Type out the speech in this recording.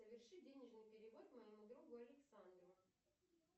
соверши денежный перевод моему другу александру